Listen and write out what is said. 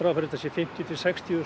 þetta séu fimmtíu til sextíu þúsund